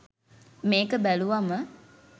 මේක බැලුවම